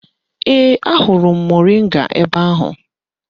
Ee, ahụrụ m moringa ebe ahụ